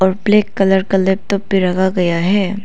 Black colour का laptop भी रखा गया है।